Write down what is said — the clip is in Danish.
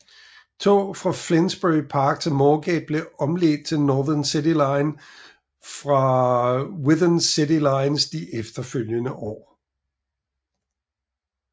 Tog fra Finsbury Park til Moorgate blev omledt til Northern City Line fra Widened City Lines de efterfølgende år